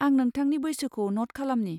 आं नोंथांनि बैसोखौ न'ट खालामनि।